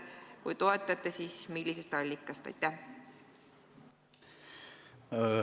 Kui toetate, siis millisest allikast see raha võiks tulla?